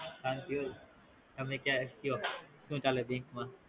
શાંતિ હો તમે કે હોય તો કયો સુ ચાલે Bank માં